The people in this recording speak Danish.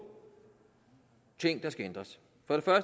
ting der skal ændres for